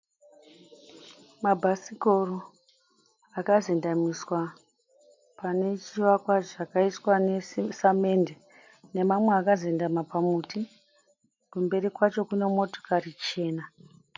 Mabhasikoro akazendemiswa pane chivakwa chakaiswa nesamende nemamwe akazendama pamuti. Kumberi kwacho kune motikari chena.